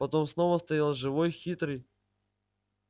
потом снова стоял живой хитрый